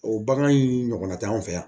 O bagan in ɲɔgɔnna tɛ anw fɛ yan